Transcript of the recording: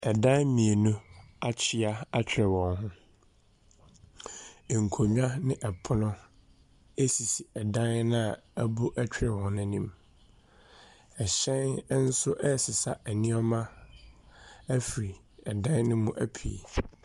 Ɛdan mmienu akyea atwere wɔn ho. Nkonnwa ne ɛpono sisi dan no a abu twerɛ hɔ no anim. Ɛhyɛn nso resesa nneɛma afiri dan no mu apue.